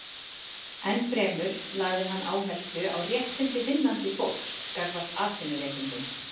Enn fremur lagði hann áherslu á réttindi vinnandi fólks gagnvart atvinnurekendum.